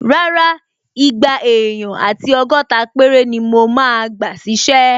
Rárá, igba èèyàn àti ọgọ́ta péré ni mo máa gbà ṣísẹ́